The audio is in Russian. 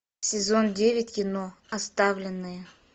сезон девять кино оставленные